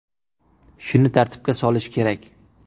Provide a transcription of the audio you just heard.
Shuni tartibga solish kerak.